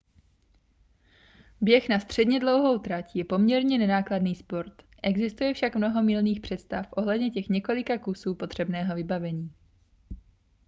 běh na středně dlouhou trať je poměrně nenákladný sport existuje však mnoho mylných představ ohledně těch několika kusů potřebného vybavení